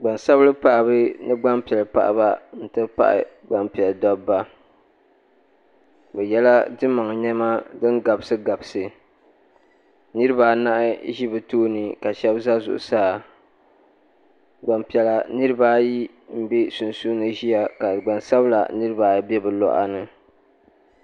Gbaŋ sabili paɣaba ni gbaŋ piɛli paɣaba ti pahi gbaŋ piɛli dabba bi ye la dimaŋ nɛma dini gabisi gabisi niriba anahi zi bi tooni ka shɛba za zuɣusaa gbaŋ piɛlla niriba ayi mbɛ sunsuuni ziya ka gbaŋ sabila niriba ayi bɛ bi luɣa ni.